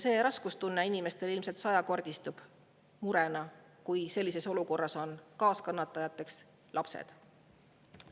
See raskustunne ja mure inimestel ilmselt sajakordistub, kui sellises olukorras on kaaskannatajateks lapsed.